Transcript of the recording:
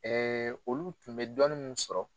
olu tun bɛ dɔni mun sɔrɔ